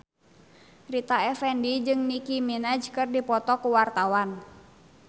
Rita Effendy jeung Nicky Minaj keur dipoto ku wartawan